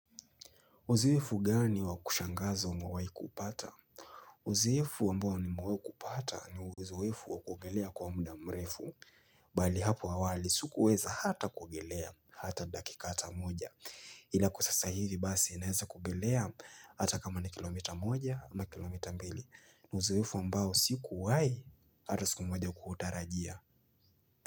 Uzoefu gani wa kushangaza umewahi kuupata? Uziifu ambao nimewahu kupata ni uzoefu wa kuogelea kwa muda mrefu. Bali hapo awali sikuweza hata kuogelea hata dakika hata moja. Ila kwa sasa hivi basi ninaweza kuogelea hata kama ni kilomita moja ama kilomita mbili. Uzoefu ambao sikuwahi hata siku moja kuutarajia.